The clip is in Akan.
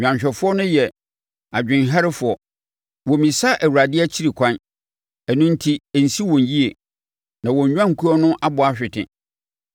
Nnwanhwɛfoɔ no yɛ adwenemherɛfoɔ. Wɔmmisa Awurade akyiri ɛkwan; ɛno enti ɛnsi wɔn yie na wɔn nnwankuo no abɔ ahwete.